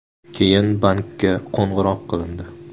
Keyin bankka qo‘ng‘iroq qilindi.